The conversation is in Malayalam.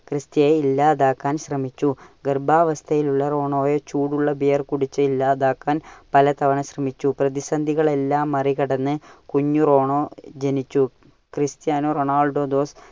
ക്രിസ്ത്യയെ ഇല്ലാതാകാൻ ശ്രമിച്ചു. ഗർഭാവസ്ഥയിലുള്ള റോണോയെ ചൂടുള്ള beer കുടിച്ച് ഇല്ലാതാക്കാൻ പല തവണ ശ്രമിച്ചു. പ്രതിസന്ധികൾ എല്ലാം മറി കടന്നു കുഞ്ഞു റോണോ ജനിച്ചു. Cristiano Ronaldo dos